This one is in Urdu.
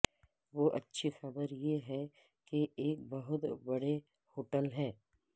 وہ اچھی خبر یہ ہے کہ ایک بہت بڑے ہوٹل ہے